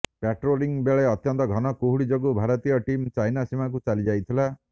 patrolling ବେଳେ ଅତ୍ୟନ୍ତ ଘନ କୁହୁଡ଼ି ଯୋଗୁ ଭାରତୀୟ ଟିମ୍ ଚାଇନା ସୀମାକୁ ଚାଲି ଯାଇଥିଲା